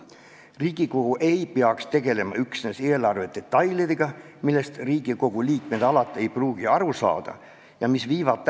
Riigikogu ei peaks tegelema üksnes eelarve detailidega, millest Riigikogu liikmed ei pruugi alati aru saada ja mis viivad ...